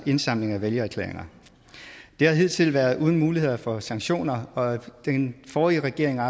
indsamling af vælgererklæringer det har hidtil været uden muligheder for sanktioner og den forrige regering har